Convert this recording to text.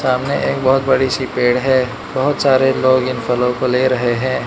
सामने एक बहोत बड़ी सी पेड़ है बहोत सारे लोग इन फलों को ले रहे है।